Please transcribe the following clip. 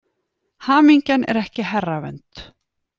Hamingjan er ekki herravönd.